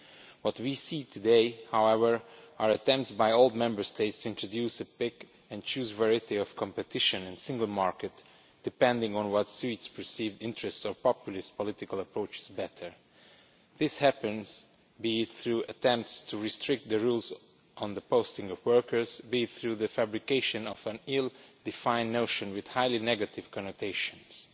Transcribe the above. What we see today, however, are attempts by old Member States to introduce a pick and choose variety of competition and single market, depending on what suits perceived interests or populist political approaches better. This happens, be it through attempts to restrict the rules on the posting of workers or be it through the fabrication of an ill defined notion with highly negative connotations, which